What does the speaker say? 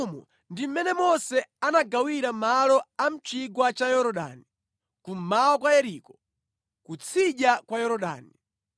Umu ndi mmene Mose anagawira malo a mʼchigwa cha Yorodani, kummawa kwa Yeriko, ku tsidya kwa Yorodani.